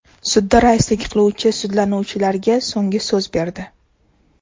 Sudda raislik qiluvchi sudlanuvchilarga so‘nggi so‘z berdi.